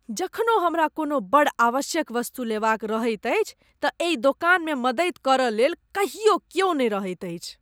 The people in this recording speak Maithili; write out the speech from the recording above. जखनो हमरा कोनो बड़ आवश्यक वस्तु लेबाक रहैत अछि तँ एहि दोकानमे मदति करयलेल कहियो क्यो नहि रहैत अछि।